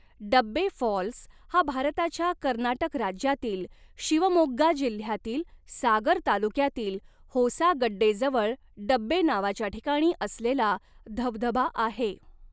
डब्बे फॉल्स हा भारताच्या कर्नाटक राज्यातील शिवमोग्गा जिल्ह्यातील सागर तालुक्यातील होसागड्डे जवळ डब्बे नावाच्या ठिकाणी असलेला धबधबा आहे.